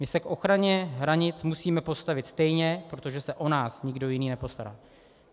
My se k ochraně hranic musíme postavit stejně, protože se o nás nikdo jiný nepostará.